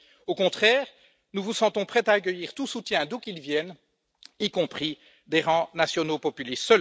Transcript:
Au contraire, nous vous sentons prête à accueillir tout soutien d'où qu'il vienne, y compris des rangs nationaux populistes.